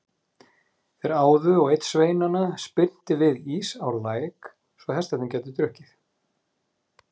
Þeir áðu og einn sveinanna spyrnti við ís á læk svo hestarnir gætu drukkið.